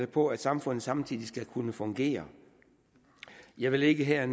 på at samfundet samtidig skal kunne fungere jeg vil ikke her